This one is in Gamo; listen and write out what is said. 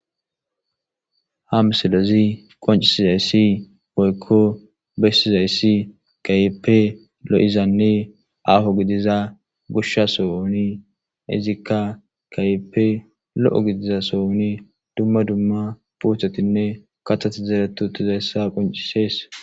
Ha msilezi qoncisizayssi woyikko bessizayssi kayeppe lo7izanne aaho gidiza gusha sowoni izikka kayeppe lo7o gidiza sohoni dumma dumma puuthotinne katati zeretu tizaysssa qoncisees.